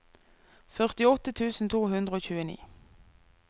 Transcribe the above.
førtiåtte tusen to hundre og tjueni